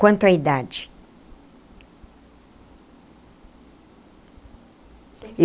Quanto à idade?